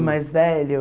O mais velho.